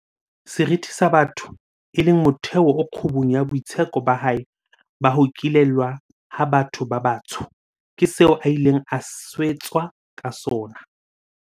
Seriti sa botho, e leng motheo o kgubung ya boitseko ba hae ba ho ikelellwa ha batho ba batsho, ke seo a ileng a swetswa ka sona.